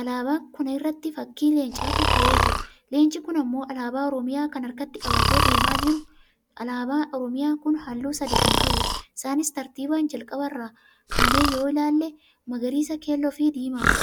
alaabaan kuna irratti fakkii leencaatu kahe jira. leenci kun ammoo alaabaa oromiyaa kana harkatti qabatee deemaa jira. alaabaa oromiyaa kun halluu sadii kan qabuudha. isaanis; tartiiban jalqaba irraa kaanee yoo ilaalle magariisa, keelloo fi diimaadha.